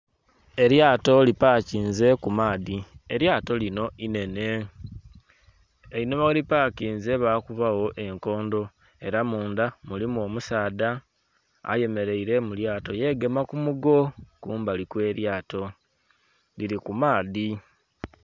Eryato lipakinze ku maadhi, eryato lino inhenhe einhuma gheri pakinze bakuba gho enkondho era mundha mulimu omusaadha ayemeraire mu lyato yegema kumugo kumbali okw'eryato liri ku maadhi.